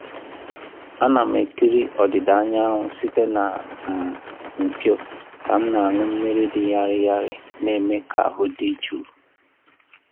Ana m ekiri ọdịda anyanwụ site na um mpio ka m na-aṅụ ihe dị ñarị ñarị na-eme ka ahụ dị jụụ.